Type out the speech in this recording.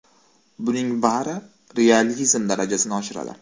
Buning bari realizm darajasini oshiradi.